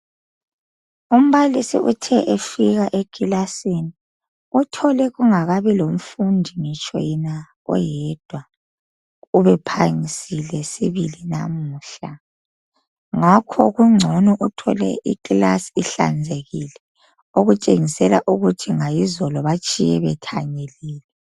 Umbalisi uthe efika ekilasini uthole kungakabi lomfundi ngitsho yena oyedwa ube phangisile sibili lamuhla ngakho kungcono uthole ikilasi ihlanzekile okutshengisela ukuthi ngayizolo batshiye bethanyelile.